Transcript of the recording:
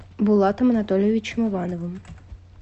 булатом анатольевичем ивановым